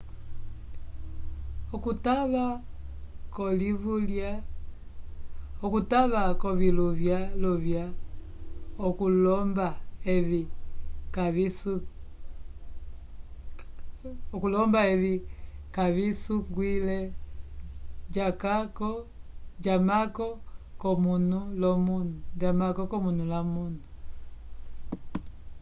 okutava koviluvya luvya okulomba evi kavisungwile jamako comunu lomunu